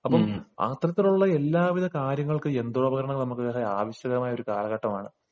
അപ്പോൾ അത്തരത്തിലുള്ള എല്ലാ കാര്യങ്ങൾക്കും യന്ത്രോപകരണങ്ങൾ തന്നെ ആവശ്യമായ കാലഘട്ടമാണ്